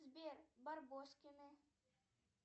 сбер барбоскины